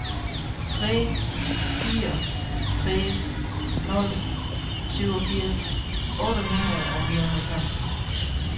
tre fire tre nul syvogfirs otte hundrede og nioghalvfems